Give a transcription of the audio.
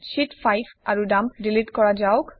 sheet5 আৰু dump delete কৰা হওঁক